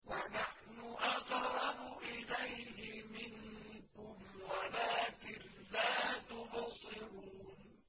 وَنَحْنُ أَقْرَبُ إِلَيْهِ مِنكُمْ وَلَٰكِن لَّا تُبْصِرُونَ